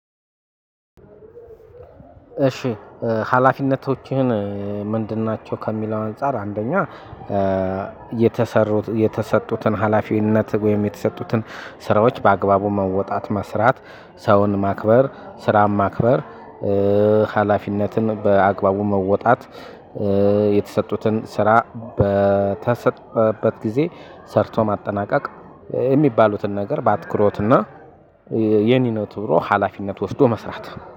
እሺ። ሀላፊነቶችህን ምንድን ናቸው? ከሚለው አንፃር አንደኛ። የተሰሩት የተሰጡትን ሀላፊነት ወይም የተሰጡትን ስራዎች በአግባቡ መወጣት መስራት ሰውን ማክበር ስራን ማክበር። ሀላፊነትን በአግባቡ መወጣት። የተሰጡትን ስራ በተሰጠበት ጊዜ ሰርቶ ማጠናቀቅ የሚባሉትን ነገር። በአትኩሮትና የኔ ነው ትብሮ ሀላፊነት ወስዶ መስራት